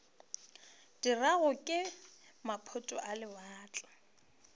dirwago ke maphoto a lewatle